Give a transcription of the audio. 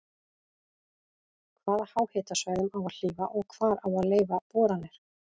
Hvaða háhitasvæðum á að hlífa og hvar á að leyfa boranir?